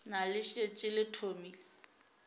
na le šetše le thomile